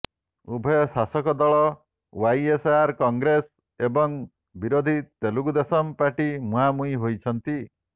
ଉଭୟ ଶାସକ ଦଳ ଓ୍ୱାଇଏସଆର କଂଗ୍ରେସ ଏବଂ ବିରୋଧୀ ତେଲୁଗୁ ଦେଶମ ପାର୍ଟି ମୁହାଁମୁହିଁ ହୋଇଛନ୍ତି